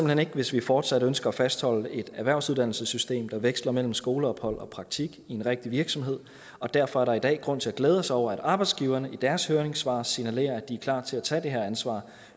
hen ikke hvis vi fortsat ønsker at fastholde et erhvervsuddannelsessystem der veksler mellem skoleophold og praktik i en rigtig virksomhed og derfor er der i dag grund til at glæde sig over at arbejdsgiverne i deres høringssvar signalerer at de er klar til at tage det ansvar